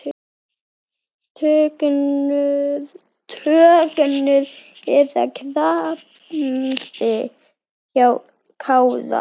Tognun eða krampi hjá Kára?